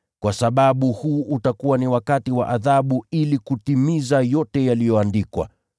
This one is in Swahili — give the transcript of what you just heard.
Kwa sababu huu utakuwa ni wakati wa adhabu ili kutimiza yote yaliyoandikwa.